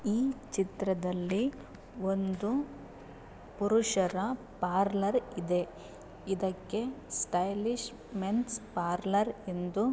ಈ ಚಿತ್ರದಲ್ಲಿ ಒಂದು ಪುರುಷರ ಪಾರ್ಲರ್ ಇದೆ ಇದಕ್ಕೆ ಸ್ಟೈಲಿಶ್ ಮೆನ್ಸ್ ಪಾರ್ಲರ್ ಎಂದು --